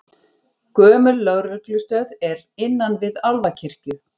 Gömul lögreglustöð er innan við Álfakirkju